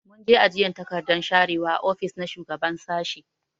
Mun je ajiyan takardan sharewa a ofis na shugaban sashi.